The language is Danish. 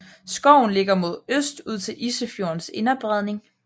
Skoven ligger mod øst ud til Isefjordens Inderbredning